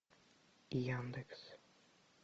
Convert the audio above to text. яндекс